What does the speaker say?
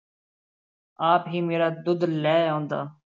ਆਪ ਹੀ ਮੇਰਾ ਦੁੱਧ ਲਹਿ ਆਉਂਦਾ।